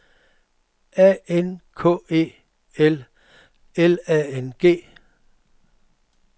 A N K E L L A N G